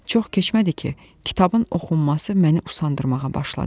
Çox keçmədi ki, kitabın oxunması məni usandırmağa başladı.